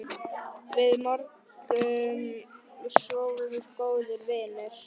Við vorum svo góðir vinir.